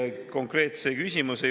Kas selline asi oleks lähiaastatel võimalik?